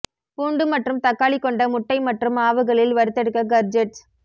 பூண்டு மற்றும் தக்காளி கொண்ட முட்டை மற்றும் மாவுகளில் வறுத்தெடுக்க கர்ஜேட்ஸ்